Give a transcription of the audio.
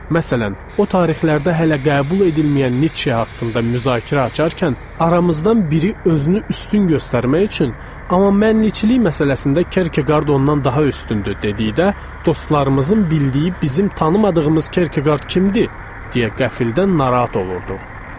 Məsələn, o tarixlərdə hələ qəbul edilməyən Niçe haqqında müzakirə açarkən aramızdan biri özünü üstün göstərmək üçün, amma mən Niçelik məsələsində Kərkəqard ondan daha üstündür dedikdə, dostlarımızın bildiyi, bizim tanımadığımız Kərkəqard kimdir deyə qəfildən narahat olurduq.